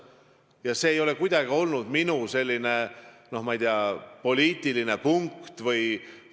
Selle taga ei ole kuidagi olnud minu soov, noh, ma ei tea, poliitilist punkti teenida.